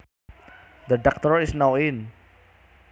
The Doctor is now in